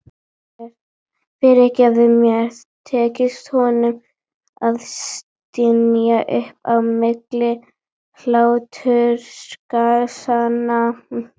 Fyrirgefðu mér, tekst honum að stynja upp á milli hlátursgusanna.